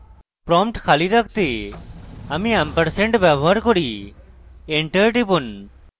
prompt খালি রাখতে আমরা & ampersand ব্যবহার করি enter টিপুন